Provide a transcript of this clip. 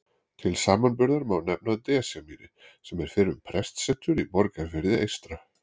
Til samanburðar má nefna Desjarmýri sem er fyrrum prestsetur í Borgarfirði eystra.